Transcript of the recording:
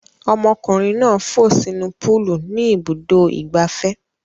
Ọmọkùnrin náà fò sínú púúlù ní Ibùdó-ìgbafẹ́.